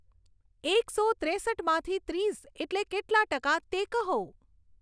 એકસો ત્રેસઠમાંથી ત્રીસ એટલે કેટલા ટકા તે કહો